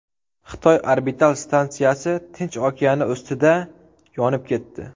Xitoy orbital stansiyasi Tinch okeani ustida yonib ketdi.